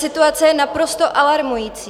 Situace je naprosto alarmující.